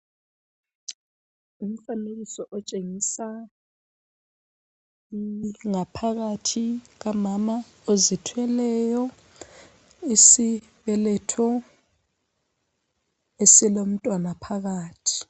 Ngumfanekiso otshengisa ngaphakathi kukamama ozithweleyo. Isibeletho esilomntwana phakathi.